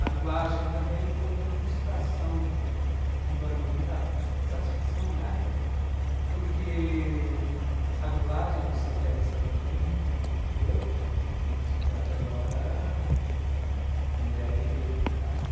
A dublagem também foi outra frustração, embora me deu muita satisfação na época, porque a dublagem, vocês devem saber muito melhor que eu, é uma atividade agora com dê erre tê, né.